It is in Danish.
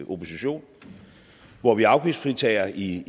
opposition hvor vi afgiftsfritager i